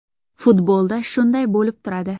Futbolda shunday bo‘lib turadi.